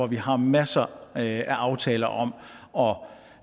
vi har masser af aftaler om om